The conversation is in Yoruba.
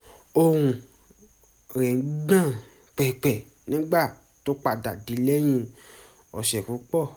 ohùn rẹ̀ ń gbọ̀n pẹ̀pẹ̀ nígbà tó padà dé lẹ́yìn ọ̀sẹ̀ púpọ̀